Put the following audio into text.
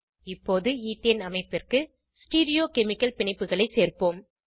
இப்போது ஈத்தேன் அமைப்பிற்கு ஸ்டீரியோகெமிகல் பிணைப்புகளை சேர்ப்போம்